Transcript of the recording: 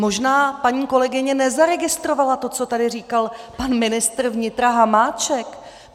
Možná paní kolegyně nezaregistrovala to, co tady říkal pan ministr vnitra Hamáček.